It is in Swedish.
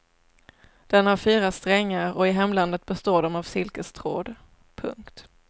Den har fyra strängar och i hemlandet består de av silkestråd. punkt